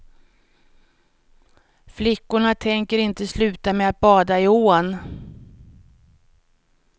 Flickorna tänker inte sluta med att bada i ån.